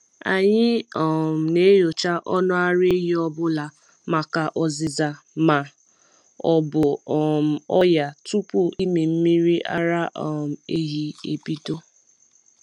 Anyị um na-enyocha ọnụ ara ehi ọ bụla maka ọzịza ma ọ bụ um ọnya tupu ịmị mmiri ara um ehi ebido.